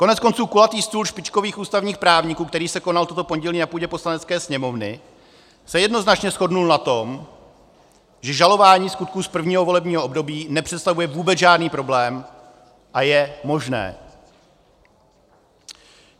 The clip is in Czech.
Koneckonců kulatý stůl špičkových ústavních právníků, který se konal toto pondělí na půdě Poslanecké sněmovny, se jednoznačně shodl na tom, že žalování skutků z prvního volebního období nepředstavuje vůbec žádný problém a je možné.